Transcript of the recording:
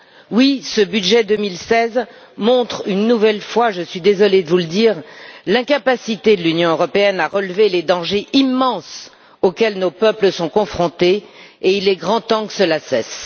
Oui, ce budget 2016 montre une nouvelle fois, je suis désolée de vous le dire, l'incapacité de l'Union européenne à relever les dangers immenses auxquels nos peuples sont confrontés et il est grand temps que cela cesse.